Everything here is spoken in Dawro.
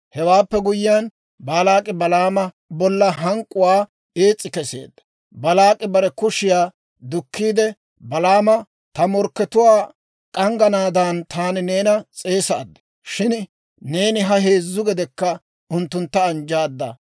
Hewaappe guyyiyaan, Baalaak'i Balaama bolla hank'k'uwaa ees's'i keseedda. Baalaak'i bare kushiyaa dukkiide Balaama, «Ta morkkatuwaa k'angganaadan taani neena s'eesaad; shin neeni ha heezzu gedekka unttuntta anjjaadda.